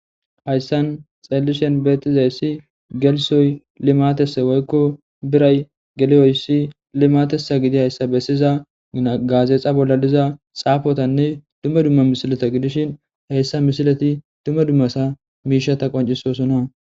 hayssan xellishen beetizayssi gelisoy limatese woykko biray geleyoyssi limatesa gidi hayssa bessiza gaazeexa bolla liza xaafotanne dumma dumma misilata gidishin heyssa mishilati dumma dummasa miishata qoncisosona